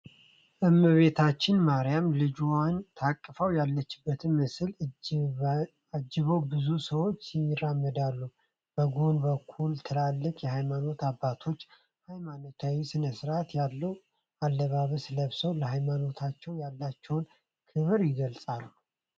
እመቤታችን ማርያም ልጇን ታቅፋ ያለችበት ምስልን አጅበው ብዙ ሰዎች ይራመዳሉ። በጎን በኩል ትላልቅ የሃይማኖት አባቶች ሃይማኖታዊ ስነስርአት ያለውን ኣለባበስ ለብሰው ለሃይማኖታቸው ያላቸውን ክብር ይገልጻሉ።